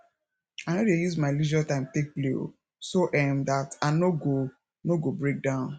i no dey use my leisure time take play o so um dat i no go no go break down